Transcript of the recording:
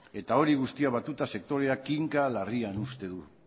eta hori guztia batuta sektorea kinka larrian uzten du